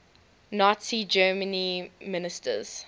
nazi germany ministers